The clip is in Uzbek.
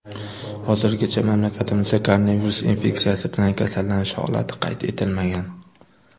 Hozirgacha mamlakatimizda koronavirus infeksiyasi bilan kasallanish holati qayd etilmagan.